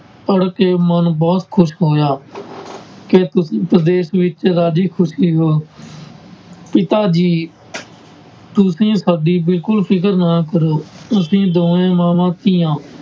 ਪੜ੍ਹਕੇ ਮਨ ਬਹੁਤ ਖ਼ੁਸ਼ ਹੋਇਆ ਕਿ ਤੁਸੀਂ ਪ੍ਰਦੇਸ਼ ਵਿੱਚ ਰਾਜੀ ਖ਼ੁਸ਼ੀ ਹੋ ਪਿਤਾ ਜੀ ਤੁਸੀਂ ਸਾਡੀ ਬਿਲਕੁਲ ਫ਼ਿਕਰ ਨਾ ਕਰੋ, ਅਸੀਂ ਦੋਵੇਂ ਮਾਵਾਂ ਧੀਆਂ